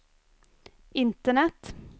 internet